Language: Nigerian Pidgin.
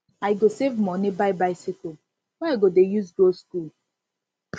i go save moni buy bicycle wey i go dey use go skool